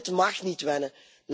Wel, dit mag niet wennen.